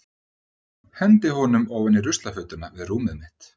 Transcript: Hendi honum ofan í ruslafötuna við rúmið mitt.